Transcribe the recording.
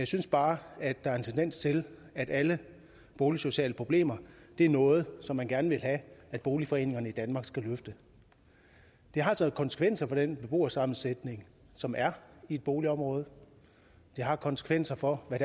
synes bare der er en tendens til at alle boligsociale problemer er noget som man gerne vil have at boligforeningerne i danmark skal løfte det har altså konsekvenser for den beboersammensætning som er i et boligområde og det har konsekvenser for hvad